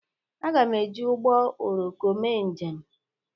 Agam ejị ụgbọ oroko mee njem.